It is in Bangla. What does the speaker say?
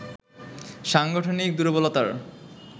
সাংগঠনিক দূর্বলতার